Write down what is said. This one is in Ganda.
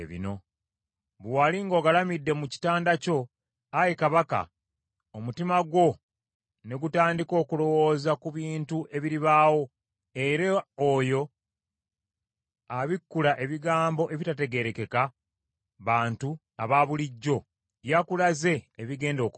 “Bwe wali ng’ogalamidde mu kitanda kyo, ayi kabaka omutima gwo ne gutandika okulowooza ku bintu ebiribaawo, era oyo abikkula ebigambo ebitategeerekeka bantu abaabulijjo, yakulaze ebigenda okubaawo.